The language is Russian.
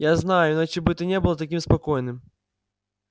я знаю иначе бы ты не был таким спокойным